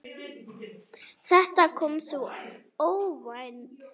Þetta kom svo óvænt.